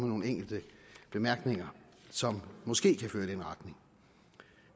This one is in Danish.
nogle enkelte bemærkninger som måske kan føre i den retning